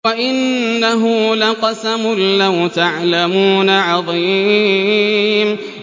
وَإِنَّهُ لَقَسَمٌ لَّوْ تَعْلَمُونَ عَظِيمٌ